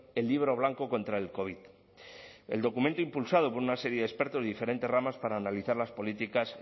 el libro blanco contra el covid el documento impulsado por una serie de expertos de diferentes ramas para analizar las políticas